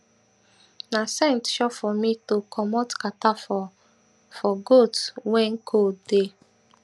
na scent sure for me to commot kata for for goat wen cold dey